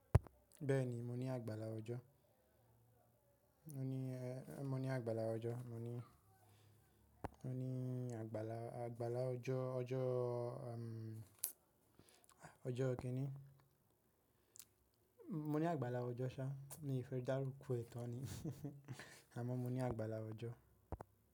Bẹ́ẹ̀ ni, mo ní àgbàlá ọjọ́. Mo ní, mo ní àgbàlá ọjọ́. Mo ní, mo ní àgbàlá, àgbàlá ọjọ́, ọjọ́, ọjọ́ kí ni? Mo ní àgbàlá ọjọ́ ṣá, mi fẹ́ darúko ẹ̀ tan Àmọ́ mo ní àgbàlá ọjọ́